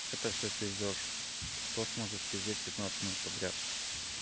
это все пиздёж кто сможет пиздеть пятнадцать минут подряд